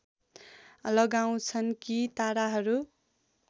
लगाउँछन् कि ताराहरू